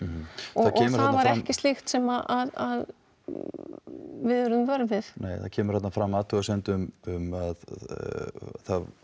og það var ekkert slíkt sem við urðum vör við nei það kemur þarna fram athugasemd um að það